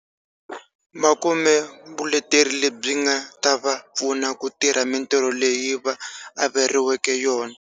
Va kume vuleteri lebyi nga ta va pfuna ku tirha mitirho leyi va averiweke yona.